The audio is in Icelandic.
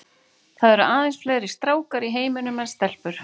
Það eru aðeins fleiri stákar í heiminum en stelpur.